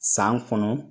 San kɔnɔ